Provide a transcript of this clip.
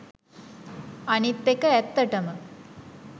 අනිත් එක ඇත්තටම